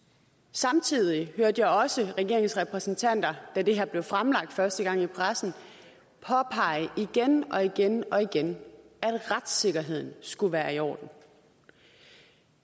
samtidig hørte jeg også regeringens repræsentanter da det her blev fremlagt første gang i pressen påpege igen og igen og igen at retssikkerheden skulle være i orden